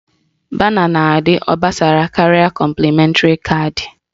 Bana na-adị obosara karịa kọmplịmentri caadị